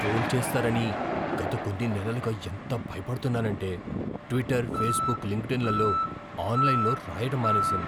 Troll చేస్తారని గత కొన్ని నెలలుగా ఎంత భయపడుతున్నానంటే ట్విట్టర్, ఫేస్బుక్, లింక్డ్ఇన్లలో ఆన్లైన్లో రాయడం మానేశాను.